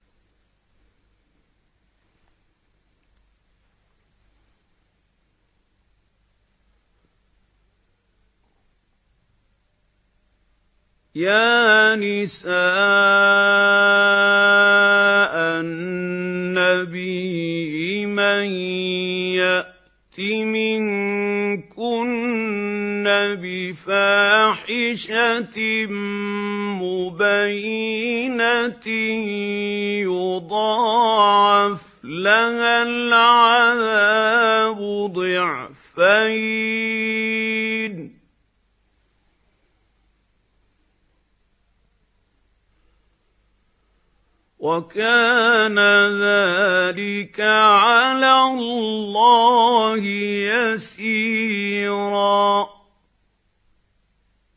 يَا نِسَاءَ النَّبِيِّ مَن يَأْتِ مِنكُنَّ بِفَاحِشَةٍ مُّبَيِّنَةٍ يُضَاعَفْ لَهَا الْعَذَابُ ضِعْفَيْنِ ۚ وَكَانَ ذَٰلِكَ عَلَى اللَّهِ يَسِيرًا